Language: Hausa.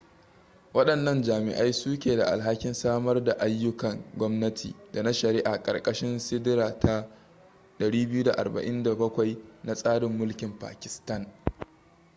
wadannan jami'ai su ke da alhakin samar daayyukan gwamnati da na shari'a ƙarkashin siɗira ta 247 na tsarin mulkin pakistan